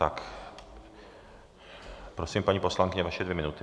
Tak prosím, paní poslankyně, vaše dvě minuty.